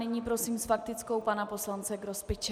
Nyní prosím s faktickou pana poslance Grospiče.